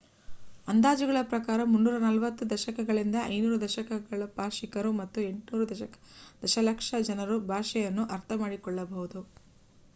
ಅಂದಾಜುಗಳ ಪ್ರಕಾರ 340 ದಶಲಕ್ಷದಿಂದ 500 ದಶಲಕ್ಷ ಭಾಷಿಕರು ಮತ್ತು 800 ದಶಲಕ್ಷ ಜನರು ಭಾಷೆಯನ್ನು ಅರ್ಥಮಾಡಿಕೊಳ್ಳಬಹುದು